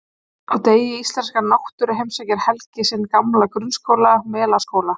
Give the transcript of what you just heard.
Á degi íslenskrar náttúru heimsækir Helgi sinn gamla grunnskóla, Melaskóla.